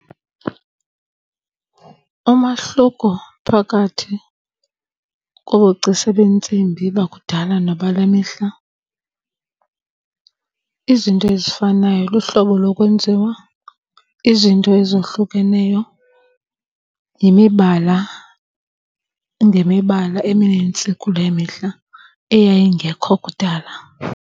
Umahluko phakathi kobugcisa beentsimbi bakudala nabale mihla izinto ezifanayo luhlobo lokwenziwa. Izinto ezohlukeneyo yimibala ngemibala eminintsi kule mihla eyayingekho kudala.